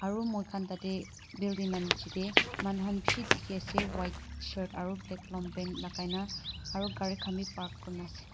aru moikhan tatae building lanichae tae manu khan bishi dikhiase white shirt aro black lompan lakaina aro gari khan bi park kurinaase.